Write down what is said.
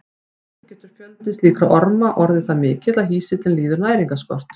Stundum getur fjöldi slíkra orma orðið það mikill að hýsillinn líður næringarskort.